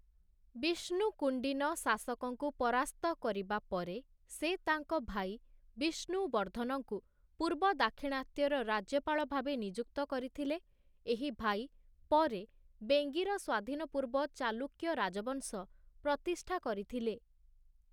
ବିଷ୍ଣୁକୁଣ୍ଡିନ, ଶାସକଙ୍କୁ ପରାସ୍ତ କରିବା ପରେ, ସେ ତାଙ୍କ ଭାଇ ବିଷ୍ଣୁ ବର୍ଦ୍ଧନଙ୍କୁ ପୂର୍ବ ଦାକ୍ଷିଣାତ୍ୟର ରାଜ୍ୟପାଳ ଭାବେ ନିଯୁକ୍ତ କରିଥିଲେ, ଏହି ଭାଇ ପରେ ବେଙ୍ଗିର ସ୍ୱାଧୀନ ପୂର୍ବ ଚାଲୁକ୍ୟ ରାଜବଂଶ ପ୍ରତିଷ୍ଠା କରିଥିଲେ ।